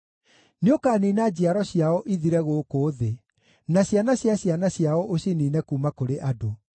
Nĩũkaniina njiaro ciao ithire gũkũ thĩ, na ciana cia ciana ciao ũciniine kuuma kũrĩ andũ.